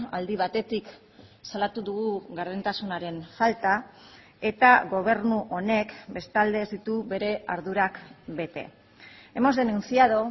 aldi batetik salatu dugu gardentasunaren falta eta gobernu honek bestalde ez ditu bere ardurak bete hemos denunciado